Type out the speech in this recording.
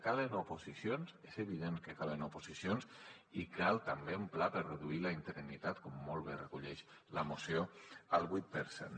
calen oposicions és evident que calen oposicions i cal també un pla per reduir la interinitat com molt bé recull la moció al vuit per cent